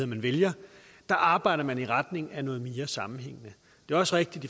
man vælger arbejder man i retning af noget mere sammenhængende det er også rigtigt